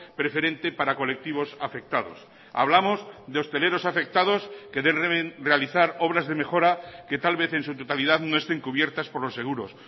preferente para colectivos afectados hablamos de hosteleros afectados que deben realizar obras de mejora que tal vez en su totalidad no estén cubiertas por los seguros